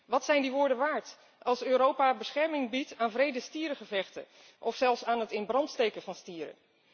Wat zijn die woorden waard als Europa bescherming biedt aan wrede stierengevechten of zelfs aan het in brand steken van stieren?